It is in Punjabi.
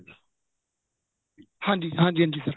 ਹਾਂਜੀ ਹਾਂਜੀ ਹਾਂਜੀ sir